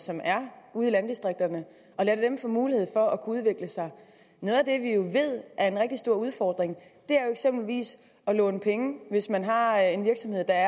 som er ude i landdistrikterne få mulighed for at kunne udvikle sig noget af det vi jo ved er en rigtig stor udfordring er eksempelvis at låne penge hvis man har har en virksomhed der